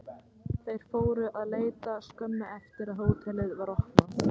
Þeir fóru að leita skömmu eftir að hótelið var opnað.